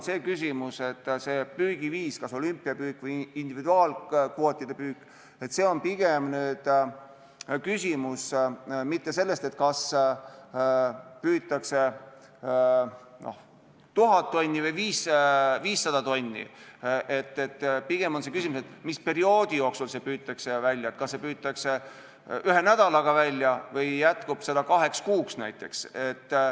See püügiviis, kas olümpiapüük või individuaalkvootidega püük, ei ole pigem küsimus mitte sellest, kas püütakse 1000 tonni või 500 tonni, pigem on see küsimus sellest, mis perioodi jooksul see välja püütakse, kas see püütakse välja ühe nädalaga või jätkub seda kaheks kuuks.